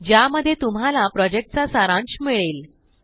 ज्यामध्ये तुम्हाला प्रॉजेक्टचा सारांश मिळेल